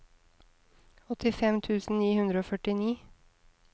åttifem tusen ni hundre og førtini